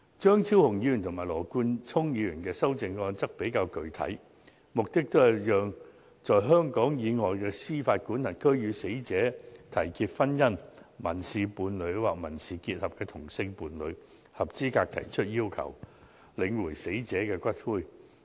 張超雄議員和羅冠聰議員的修正案比較具體，目的都是讓在香港以外的司法管轄區與死者締結婚姻、民事伴侶或民事結合的同性伴侶，合資格提出要求領回死者的骨灰。